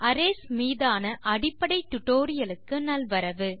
arrays மீதான அடிப்படை டுடோரியலுக்கு நல்வரவு